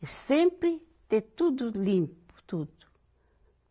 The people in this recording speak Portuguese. E sempre ter tudo limpo, tudo.